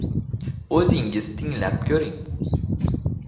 O‘zingiz tinglab ko‘ring.